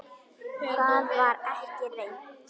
Það var ekki reynt.